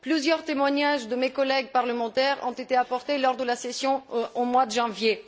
Plusieurs témoignages de mes collègues parlementaires ont été apportés lors de la session du mois de janvier.